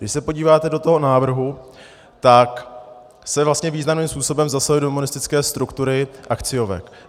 Když se podíváte do toho návrhu, tak se vlastně významným způsobem zasahuje do monistické struktury akciovek.